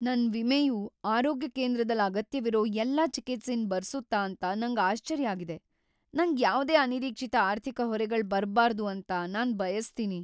ನನ್ ವಿಮೆಯು ಆರೋಗ್ಯ ಕೇಂದ್ರದಲ್ ಅಗತ್ಯವಿರೋ ಎಲ್ಲಾ ಚಿಕಿತ್ಸೆನ್ ಬರ್ಸುತ್ತ ಅಂತ ನಂಗ್ ಆಶ್ಚರ್ಯ ಆಗಿದೆ. ನಂಗ್ ಯಾವ್ದೇ ಅನಿರೀಕ್ಷಿತ ಆರ್ಥಿಕ ಹೊರೆಗಳ್ ಬರ್ಬಾರ್ದು ಅಂತ ನಾನ್ ಬಯಸ್ತೀನಿ.